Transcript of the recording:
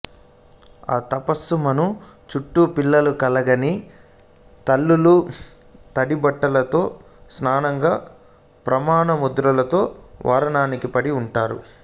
ఆ తపస్సు మాను చుట్టు పిల్లలు కలగని తల్లులు తడి బట్టలతో సాష్టాంగ ప్రమాణ ముద్రలో వరానికి వడి వుంటారు